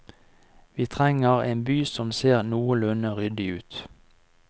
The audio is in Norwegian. Vi trenger en by som ser noenlunde ryddig ut.